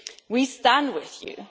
We stand with you.